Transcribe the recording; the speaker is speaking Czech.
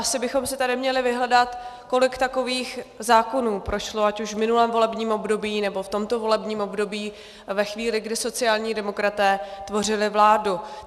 Asi bychom si tady měli vyhledat, kolik takových zákonů prošlo ať už v minulém volebním období, nebo v tomto volebním období ve chvíli, kdy sociální demokraté tvořili vládu.